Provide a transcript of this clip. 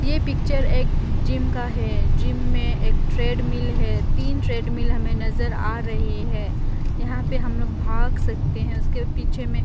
ये पिक्चर एक जिम का है जिम में एक ट्रेडमिल है तीन ट्रेडमिल हमें नजर आ रही है यहां पे हम लोग भाग सकते हैं उसके पीछे में --